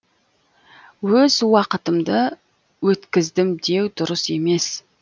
өз уақытымды өткіздім деу дұрыс емес